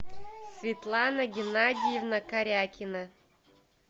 светлана геннадьевна карякина